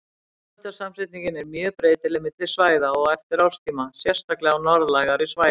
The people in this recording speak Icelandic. Tegundasamsetningin er mjög breytileg milli svæða og eftir árstíma, sérstaklega á norðlægari svæðum.